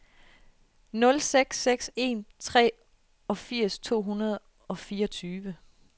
nul seks seks en treogfirs to hundrede og fireogtyve